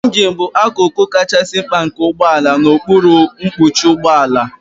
Ịnjin bụ akụkụ kachasị mkpa nke ụgbọ ala n'okpuru mkpuchi ụgbọ ala.